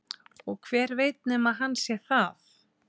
Og hver veit nema hann sé það?